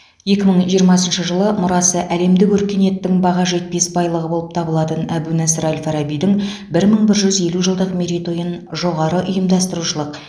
екі мың жиырмасыншы жылы мұрасы әлемдік өркениеттің баға жетпес байлығы болып табылатын әбу насыр әл фарабидің бір мың бір жүз елу жылдық мерейтойын жоғары ұйымдастырушылық